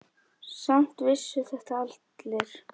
Samt vissu þetta allir.